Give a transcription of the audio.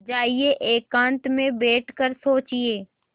जाइए एकांत में बैठ कर सोचिए